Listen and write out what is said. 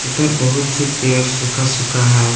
इधर बहुत ही पेड़ सूखा सूखा है।